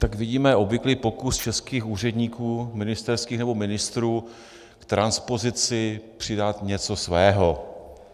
Tak vidíme obvyklý pokus českých úředníků, ministerských nebo ministrů, k transpozici přidat něco svého.